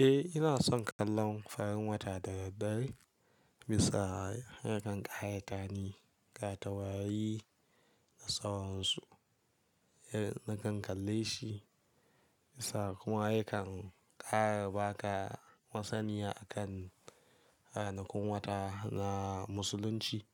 Eh ina son kallon farin wata da daddare dare, bisa yakan ƙaramftanhi ga taurari na sawonsu. Na kan kalle shi bisa kuma yakan ƙara baka masaniya a kan ranakun wata na musulunci,